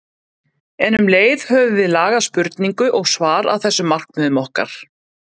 En um leið höfum við lagað spurningu og svar að þessum markmiðum okkar.